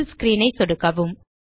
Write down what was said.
புல் screen ஐ சொடுக்கவும்